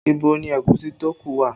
Ibo ni ẹ̀gúsí tó ku wà?